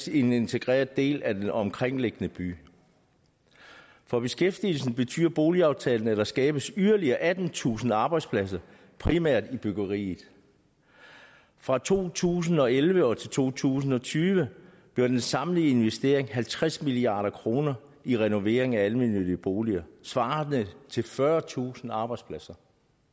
en integreret del af den omkringliggende by for beskæftigelsen betyder boligaftalen at der skabes yderligere attentusind arbejdspladser primært i byggeriet fra to tusind og elleve til to tusind og tyve bliver den samlede investering halvtreds milliard kroner i renovering af almennyttige boliger svarende til fyrretusind arbejdspladser